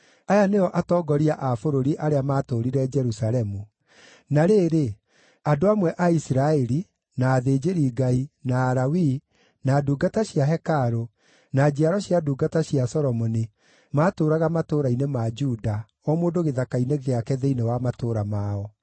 Aya nĩo atongoria a bũrũri arĩa maatũũrire Jerusalemu (na rĩrĩ, andũ amwe a Isiraeli, na athĩnjĩri-Ngai, na Alawii, na ndungata cia hekarũ, na njiaro cia ndungata cia Solomoni maatũũraga matũũra-inĩ ma Juda, o mũndũ gĩthaka-inĩ gĩake thĩinĩ wa matũũra mao.